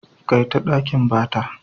Kaita ɗakin bata.